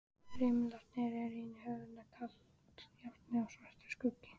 Rimlarnir eru inni í höfðinu, kalt járnið er svartur skuggi.